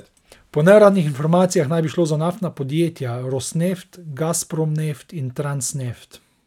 Po neuradnih informacijah naj bi šlo za naftna podjetja Rosneft, Gazprom Neft in Transneft.